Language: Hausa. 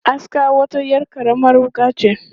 Aska wata 'yar karamar wuƙa ce.